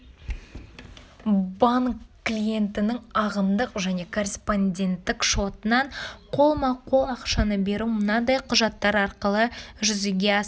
банк клиентінің ағымдық және корреспонденттік шотынан қолма-қол ақшаны беру мынадай құжаттар арқылы жүзеге асырылады